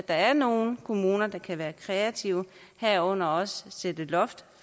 at nogle kommuner kan være kreative herunder også sætte et loft